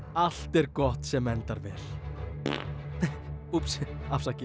allt er gott sem endar vel úps afsakið